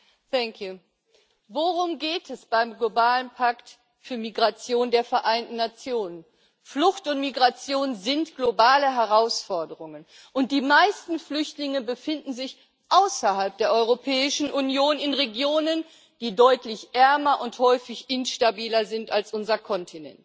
Herr Präsident! Worum geht es beim globalen Pakt für Migration der Vereinten Nationen? Flucht und Migration sind globale Herausforderungen, und die meisten Flüchtlinge befinden sich außerhalb der Europäischen Union in Regionen, die deutlich ärmer und häufig instabiler sind als unser Kontinent.